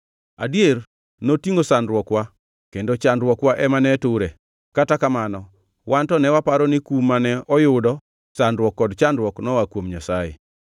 Adier, notingʼo sandruok-wa kendo chandruokwa ema ne ture, kata kamano wan to ne waparo ni kum mane oyudo, sandruok kod chandruok noa kuom Nyasaye.